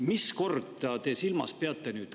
Mis korda te silmas peate nüüd?